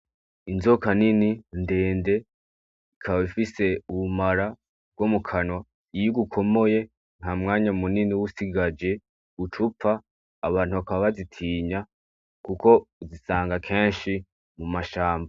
Inzoka nini ndende ikaba ifise ubumara bwo mu kanwa, iyo igukomoye ntamwanya munini uba usigaje ucupfa. Abantu bakaba bazitinya kuko uzisanga kenshi mu mashamba.